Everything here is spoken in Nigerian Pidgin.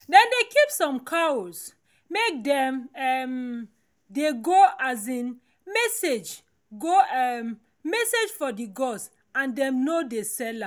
dem dey keep some cows make dem um dey go um message go um message for the gods and dem no dey sell am